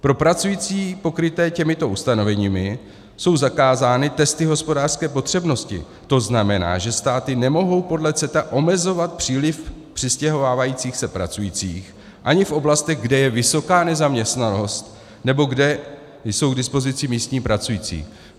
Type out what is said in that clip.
Pro pracující pokryté těmito ustanoveními jsou zakázány testy hospodářské potřebnosti, to znamená, že státy nemohou podle CETA omezovat příliv přistěhovávajících se pracujících ani v oblastech, kde je vysoká nezaměstnanost nebo kde jsou k dispozici místní pracující.